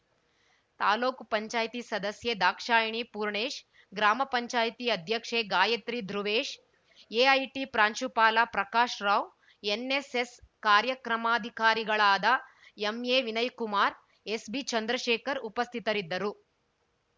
ತಾಲೂಕ್ ಪಂಚಾಯತಿ ಸದಸ್ಯೆ ದಾಕ್ಷಾಯಿಣಿ ಪೂರ್ಣೇಶ್‌ ಗ್ರಾಮ ಪಂಚಾಯತಿ ಅಧ್ಯಕ್ಷೆ ಗಾಯತ್ರಿ ಧೃವೇಶ್‌ ಎಐಟಿ ಪ್ರಾಂಶುಪಾಲ ಪ್ರಕಾಶ್‌ ರಾವ್‌ ಎನ್‌ಎಸ್‌ಎಸ್‌ ಕಾರ್ಯಕ್ರಮಾಧಿಕಾರಿಗಳಾದ ಎಂಎವಿನಯ್‌ ಕುಮಾರ್‌ ಎಸ್‌ಬಿಚಂದ್ರಶೇಖರ್‌ ಉಪಸ್ಥಿತರಿದ್ದರು